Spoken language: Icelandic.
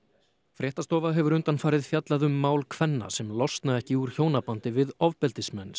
fréttastofa hefur fjallað um mál kvenna sem losna ekki úr hjónabandi við ofbeldismenn